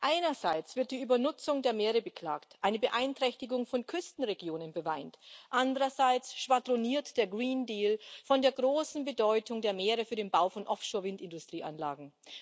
Einerseits wird die Übernutzung der Meere beklagt, eine Beeinträchtigung von Küstenregionen beweint, andererseits schwadroniert der Grüne Deal von der großen Bedeutung der Meere für den Bau von Offshore Windindustrieanlagen.